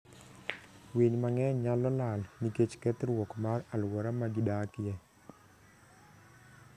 Winy mang'eny nyalo lal nikech kethruok mar alwora ma gidakie.